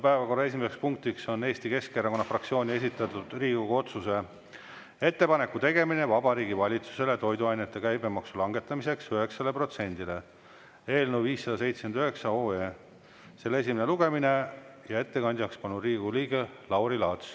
Päevakorra esimeseks punktiks on Eesti Keskerakonna fraktsiooni esitatud Riigikogu otsuse "Ettepaneku tegemine Vabariigi Valitsusele toiduainete käibemaksu langetamiseks 9-le protsendile" eelnõu 579 esimene lugemine ja ettekandjaks palun Riigikogu liikme Lauri Laatsi.